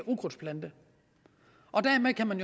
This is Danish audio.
ukrudtsplante dermed kan man